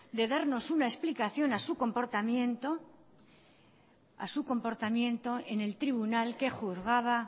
de darnos una explicación a su comportamiento en el tribunal que juzgaba